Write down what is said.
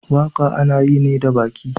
Waka ana yi ne da baki.